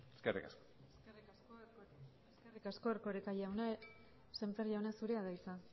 eskerrik asko eskerrik asko erkoreka jauna sémper jauna zurea da hitza